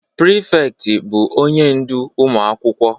Prịfektị bụ onye ndu ụmụ akwụkwọ